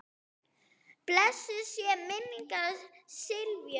Blessuð sé minning Sifjar.